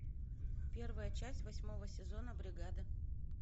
первая часть восьмого сезона бригада